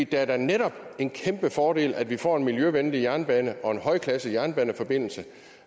det er da netop en kæmpe fordel at vi får en miljøvenlig jernbane og en højklasset jernbaneforbindelse